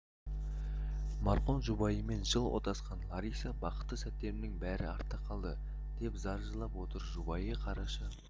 марқұм жұбайымен жыл отасқан лариса бақытты сәттерімнің бәрі артта қалды деп зар жылап отыр жұбайы қараша